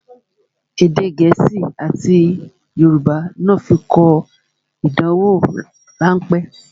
Èdè gẹ̀ẹ́sì àti Yorùbá ní ó fi kọ ìdánwò rán pẹ́